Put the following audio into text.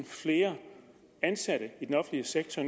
flere ansatte i den offentlige sektor